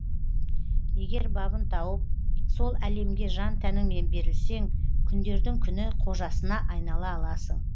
егер бабын тауып сол әлемге жан тәніңмен берілсең күндердің күні қожасына айнала аласың